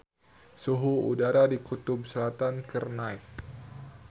Suhu udara di Kutub Selatan keur naek